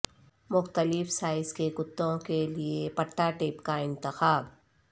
مختلف سائز کے کتوں کے لئے پٹا ٹیپ کا انتخاب